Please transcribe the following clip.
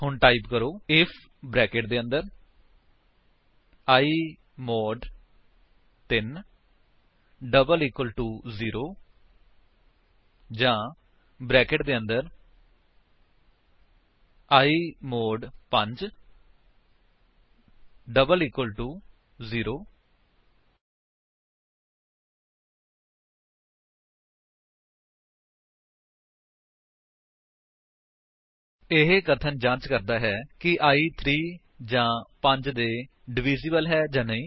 ਹੁਣ ਟਾਈਪ ਕਰੋ IF brackets ਦੇ ਅੰਦਰ i mod 3 double equal to 0 ਜਾਂ ਬਰੈਕੇਟ ਦੇ ਅੰਦਰ i mod 5 double equal to 0 ਇਹ ਕਥਨ ਜਾਂਚ ਕਰਦਾ ਹੈ ਕਿ i 3 ਜਾਂ 5 ਦੇ ਡਵਿਸਿਬ੍ਲ ਹੈ ਜਾਂ ਨਹੀਂ